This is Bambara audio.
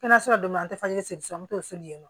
Kɛnɛyaso la don min an tɛ falen sisan n'o se ye